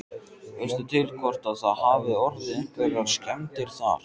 Veistu til hvort að það hafi orðið einhverjar skemmdir þar?